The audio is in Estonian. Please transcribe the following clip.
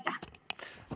Aitäh!